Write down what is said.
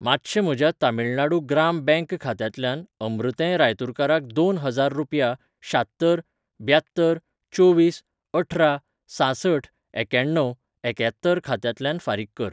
मातशें म्हज्या तमिळनाडू ग्राम बँक खात्यांतल्यान अमृतें रायतुरकाराक दोन हजार रुपया शात्तर ब्यात्तर चोवीस अठरा सांसठ एक्याण्णव एक्यात्तर खात्यांतल्यान फारीक कर. .